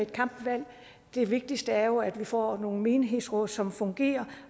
kampvalg det vigtigste er jo at vi får nogle menighedsråd som fungerer